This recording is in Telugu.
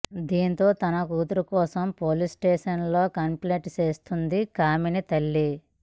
దీనితో తన కూతురు కోసం పోలీస్ స్టేషన్ లో కంప్లేంట్ చేస్తుంది కామిని తల్లి